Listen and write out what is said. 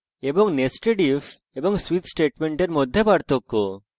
এবং nested if এবং switch স্টেটমেন্টের মধ্যে পার্থক্য